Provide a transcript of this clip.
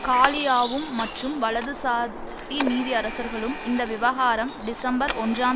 காலியாவும் மற்றும் வலதுசாரி நீதியரசர்களும் இந்த விவகாரம் டிசம்பர் ஒன்றாம்